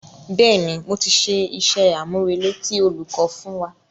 Bẹ́ẹ̀ni, mo ti ṣe iṣẹ́-àmúrelé tí olùkọ́ fún wa.